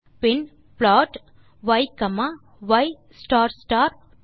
bin plot y comma y star star 2